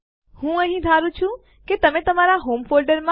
પરંતુ જો આપણે r અને f વિકલ્પ ભેગા કરીએ તો આપણે આ કરી શકીએ છીએ